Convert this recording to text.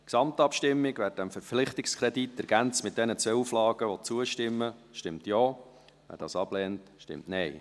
Gesamtabstimmung: Wer diesem Verpflichtungskredit, ergänzt um diese zwei Auflagen, zustimmen will, stimmt Ja, wer dies ablehnt, stimmt Nein.